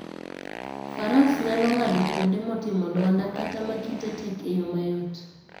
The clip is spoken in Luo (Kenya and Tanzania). Faras nyalo ng'ado kuonde motimo lwanda kata ma kite tek e yo mayot.